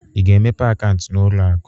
Ị ga-emepe akaụntụ n'ụlọ akụ?